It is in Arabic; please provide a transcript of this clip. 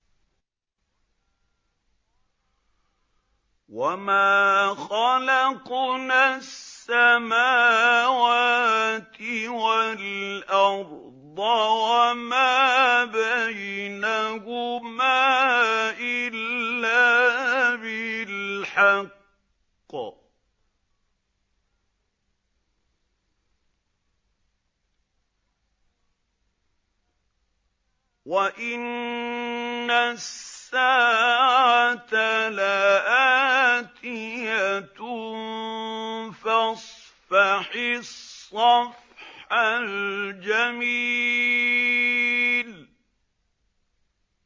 وَمَا خَلَقْنَا السَّمَاوَاتِ وَالْأَرْضَ وَمَا بَيْنَهُمَا إِلَّا بِالْحَقِّ ۗ وَإِنَّ السَّاعَةَ لَآتِيَةٌ ۖ فَاصْفَحِ الصَّفْحَ الْجَمِيلَ